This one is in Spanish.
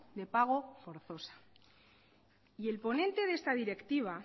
de pago forzosa y el ponente de esta directiva